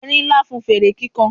erin Nla fún fere kikan